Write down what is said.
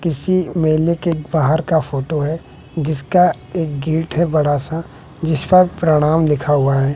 किसी मेले के बाहर का फोटो है जिसका एक गेट है बड़ा सा जिस पर प्रणाम लिखा हुआ है।